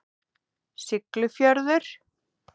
Siglufjörður